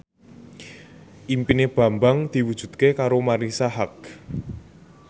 impine Bambang diwujudke karo Marisa Haque